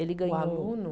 Ele ganhou Um aluno?